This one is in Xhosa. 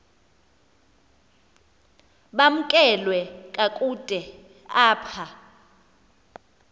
bamkelwe kakuhte apha